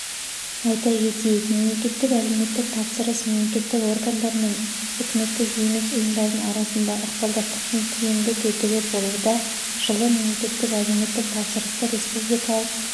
айта кетейік мемлекеттік әлеуметтік тапсырыс мемлекеттік органдар мен үкіметтік емес ұйымдардың арасындағы ықпалдастықтың тиімді тетігі болуда жылы мемлекеттік әлеуметтік тапсырысты республикалық